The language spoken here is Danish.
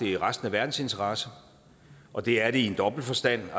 i resten af verdens interesse og det er det i en dobbelt forstand